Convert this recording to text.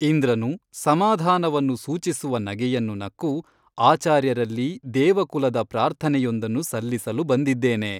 ಇಂದ್ರನು ಸಮಾಧಾನವನ್ನು ಸೂಚಿಸುವ ನಗೆಯನ್ನು ನಕ್ಕು ಆಚಾರ್ಯರಲ್ಲಿ ದೇವಕುಲದ ಪ್ರಾರ್ಥನೆಯೊಂದನ್ನು ಸಲ್ಲಿಸಲು ಬಂದಿದ್ದೇನೆ.